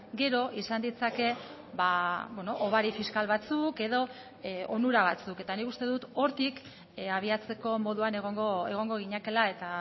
gero izan ditzake hobari fiskal batzuk edo onura batzuk eta nik uste dut hortik abiatzeko moduan egongo ginatekeela eta